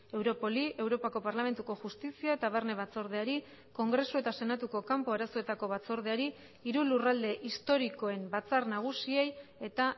europoli europako parlamentuko justizia eta barne batzordeari kongresu eta senatuko kanpo arazoetako batzordeari hiru lurralde historikoen batzar nagusiei eta